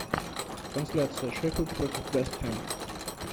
трансляция шеффилд против вест хэма